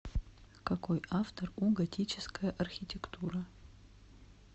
какой автор у готическая архитектура